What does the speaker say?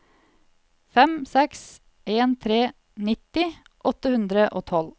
fem seks en tre nitti åtte hundre og tolv